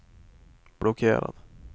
blockerad